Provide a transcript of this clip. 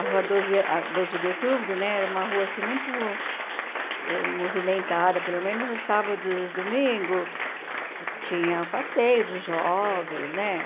A Rua Doze a Doze de Outubro né era uma rua assim muito movimentada, pelo menos o sábado e os domingos tinha o passeio dos jovens né.